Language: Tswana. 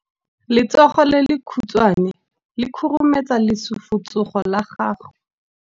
Letsogo le lekhutshwane le khurumetsa lesufutsogo la gago.